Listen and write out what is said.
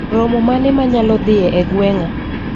Romo mane manyalodhie e gweng'a